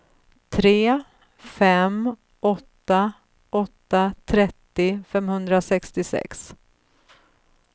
tre fem åtta åtta trettio femhundrasextiosex